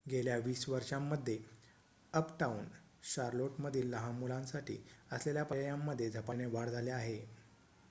गेल्या २० वर्षांमध्ये अपटाउन शार्लोटमधील लहान मुलांसाठी असलेल्या पर्यायांमध्ये झपाट्याने वाढ झाली आहे